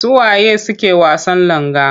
Su wa ye suke wasan langa?